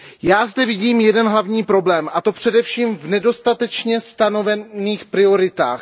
Já zde vidím jeden hlavní problém, a to především v nedostatečně stanovených prioritách.